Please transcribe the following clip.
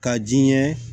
Ka ji ɲɛ